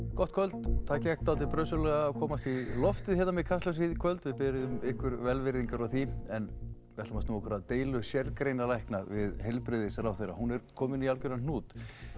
gott kvöld það gekk dálítið brösuglega að komast í loftið hérna með Kastljósið í kvöld við biðjum ykkur velvirðingar á því en við ætlum að snúa okkur að deilu sérgreinalækna við heilbrigðisráðherra hún er komin í algjöran hnút